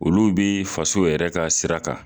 Olu bi faso yɛrɛ ka sira kan